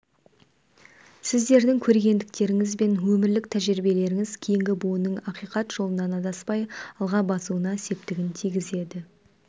сіздердің көрегендіктеріңіз бен өмірлік тәжірибелеріңіз кейінгі буынның ақиқат жолынан адаспай алға басуына септігін тигізеді